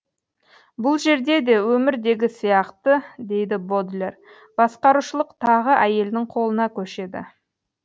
бұл жерде де өмірдегі сияқты дейді бодлер басқарушылық тағы әйелдің қолына көшеді